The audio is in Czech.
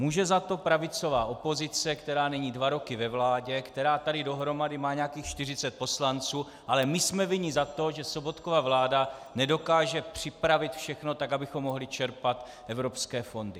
Může za to pravicová opozice, která není dva roky ve vládě, která tady dohromady má nějakých 40 poslanců, ale my jsme vinni za to, že Sobotkova vláda nedokáže připravit všechno tak, abychom mohli čerpat evropské fondy.